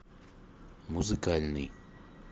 музыкальный